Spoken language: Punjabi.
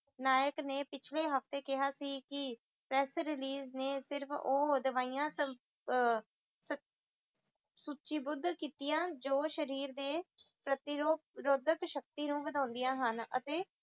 ਨਾਯਕ ਨੇ ਪਿਛਲੇ ਹਫਤੇ ਕਿਹਾ ਸੀ ਕਿ press release ਨੇ ਸਿਰਫ ਉਹ ਦਵਾਈਆਂ ਅਹ ਸੁਚਿਬੁਧ ਕਿੱਤਿਆਂ ਜੋ ਸ਼ਰੀਰ ਦੇ ਪ੍ਰਤੀਰੋਧਕ ਸ਼ਕਤੀ ਨੂੰ ਵਧਾਂਦੀਆਂ ਹਨ ਅਤੇ